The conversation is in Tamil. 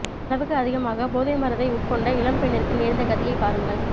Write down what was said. அளவுக்கு அதிகமாக போதை மருந்தை உட்கொண்ட இளம் பெண்ணிற்கு நேர்ந்த கதியை பாருங்கள்